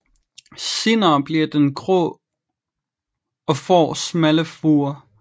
Senere bliver den grå og får smalle furer